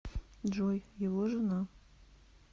джой его жена